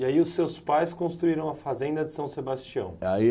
E aí os seus pais construíram a fazenda de São Sebastião? Aí